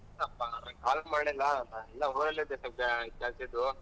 Call ಮಾಡಿಲ್ಲ ಇನ್ನಾ ಊರಲ್ಲಿದ್ದೇ ಸ್ವಲ್ಪ ಕೆಲ್ಸ ಇದ್ವು.